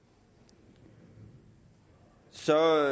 det så